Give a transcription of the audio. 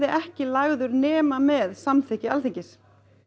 ekki lagður nema með sérstöku samþykki Alþingis